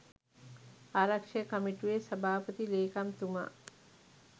ආරක්‍ෂක කමිටුවේ සභාපති ලේකම්තුමා